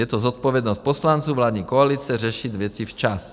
Je to zodpovědnost poslanců vládní koalice řešit věci včas.